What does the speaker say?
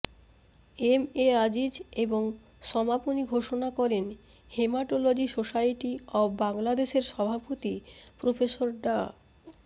M A Aziz এবং সমাপনি ঘোষণা করেন হেমাটোলজি সোসাইটি অব বাংলাদেশের সভাপতি প্রফেসর ডা